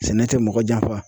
Sɛnɛ tɛ mɔgɔ janfa